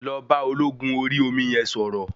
Lọ bá ológun Orí omi yẹn sọ̀rọ̀.